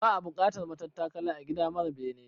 Ba'a bukatar matattakala a gida mara bene